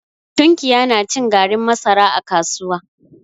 Tunkiya na cin garin masara a kasuwa.